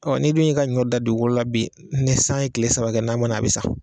Ɔ ni dun y'i ka ɲɔ dan dugukolo la bi ni san ye kile saba kɛ n'a ma na a bi sa